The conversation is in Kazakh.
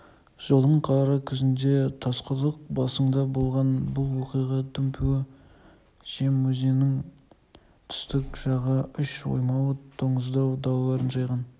жылдың қара күзінде тасқұдық басыңда болған бұл оқиға дүмпуі жем өзенінің түстік жағы үш оймауыт доңызтау далаларын жайлаған